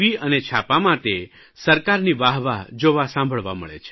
અને છાપાંમાં તે સરકારની વાહ વાહ જોવા સાંભળવા મળે છે